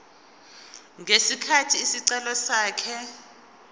ngesikhathi isicelo sakhe